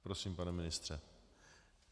Prosím, pane ministře.